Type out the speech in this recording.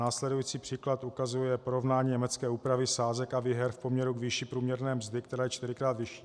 Následující příklad ukazuje porovnání německé úpravy sázek a výher v poměru k výši průměrné mzdy, která je čtyřikrát vyšší.